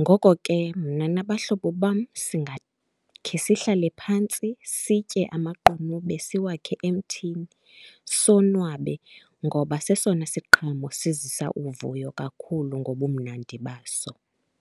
Ngoko ke, mna nabahlobo bam singakhe sihlale phantsi sitye amaqunube, siwakhe emthini sonwabe, ngoba sesona siqhamo sizisa uvuyo kakhulu ngobumnandi baso.